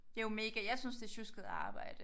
Det jo mega jeg synes det sjusket arbejde